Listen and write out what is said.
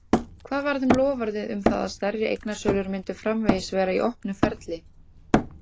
Hvað varð um loforðið um það að stærri eignasölur myndu framvegis vera í opnu ferli?